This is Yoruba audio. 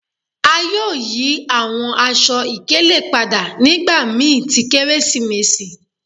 A yoo yi awọn aṣọ-ikele pada nigbamii ti keresimesi